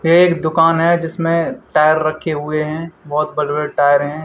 ये एक दुकान है जिसमें टायर पर रखे हुए हैं बहुत बड़े बड़े टायर हैं।